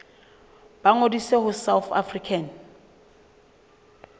ba ngodise ho south african